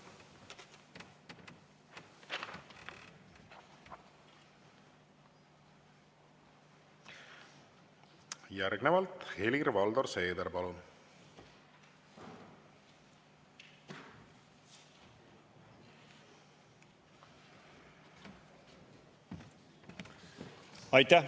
Järgnevalt Helir-Valdor Seeder, palun!